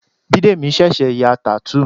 Bidemi ṣẹ̀ṣẹ̀ ya tattoo